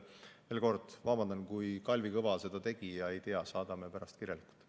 Veel kord vabandan, kui Kalvi Kõva seda tegi ja ma ei tea.